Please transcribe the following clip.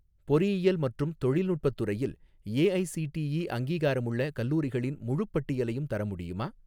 பொறியியல் மற்றும் தொழில்நுட்பத் துறையில் ஏஐஸிடிஇ அங்கீகாரமுள்ள கல்லூரிகளின் முழுப் பட்டியலையும் தர முடியுமா?